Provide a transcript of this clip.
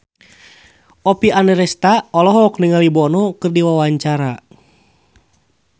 Oppie Andaresta olohok ningali Bono keur diwawancara